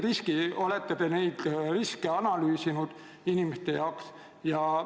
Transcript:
Kas te olete neid riske inimeste jaoks analüüsinud?